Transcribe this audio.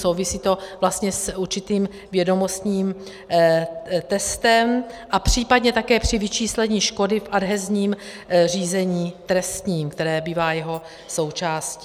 Souvisí to vlastně s určitým vědomostním testem a případně také při vyčíslení škody v adhezním řízení trestním, které bývá jeho součástí.